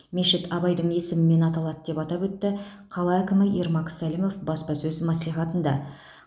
мешіт абайдың есімімен аталады деп атап өтті қала әкімі ермак сәлімов баспасөз мәслихатында